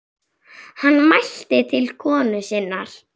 Hann mælti til konu sinnar: